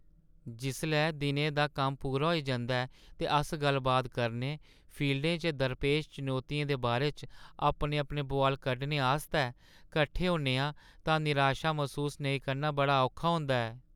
जिसलै दिनै दा कम्म पूरा होई जंदा ऐ ते अस गल्ल-बात करने, फील्डें च दरपेश चुनौतियें दे बारे च अपने-अपने बुआल कड्ढने आस्तै कट्ठे होन्ने आं तां निराशा मसूस नेईं करना बड़ा औखा होंदा ऐ।